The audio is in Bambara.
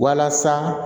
Walasa